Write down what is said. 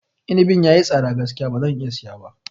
Inabin ya yi tsada gaskiya ba zan iya siya ba.